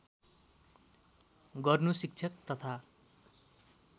गर्नु शिक्षक तथा